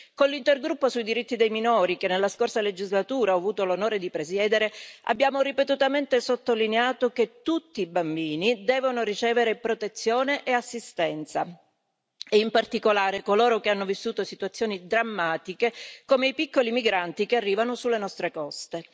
Con l'intergruppo sui diritti dei minori, che nella scorsa legislatura ho avuto l'onore di presiedere, abbiamo ripetutamente sottolineato che tutti i bambini devono ricevere protezione e assistenza e in particolare coloro che hanno vissuto situazioni drammatiche, come i piccoli migranti che arrivano sulle nostre coste.